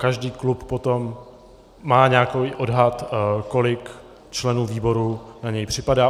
Každý klub potom má nějaký odhad, kolik členů výboru na něj připadá.